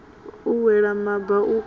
u wela maba u kanga